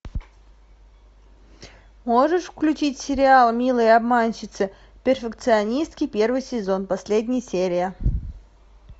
можешь включить сериал милые обманщицы перфекционистки первый сезон последняя серия